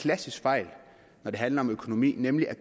klassisk fejl når det handler om økonomi nemlig at